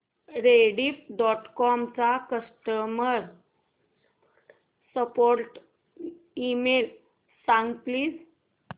Rediff dot com चा customer support email सांग please